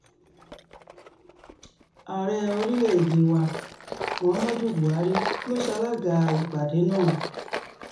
ààrẹ orílẹ̀‐èdè wa muhammadu buhari ló ṣalaga ìpàdé náà